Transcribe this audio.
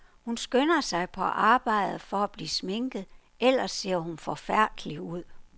Hun skynder sig på arbejde for at blive sminket, ellers ser hun forfærdelig ud.